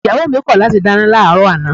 Ìyàwó mi kọ̀ láti dáná láàárọ̀ àná